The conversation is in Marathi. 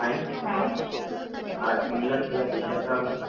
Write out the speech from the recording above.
हा इंग्लंड ह्या देशाचा राष्ट्रीय खेळ आहे